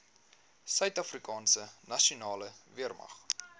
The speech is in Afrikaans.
suidafrikaanse nasionale weermag